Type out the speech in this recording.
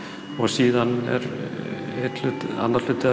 hugmyndavinnunni annar hluti